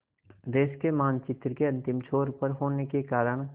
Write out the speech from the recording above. देश के मानचित्र के अंतिम छोर पर होने के कारण